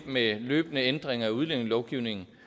med løbende ændringer af udlændingelovgivningen